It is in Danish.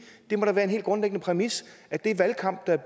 må da være en helt grundlæggende præmis at den valgkamp der